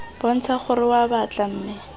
bontsha gore oa batla mme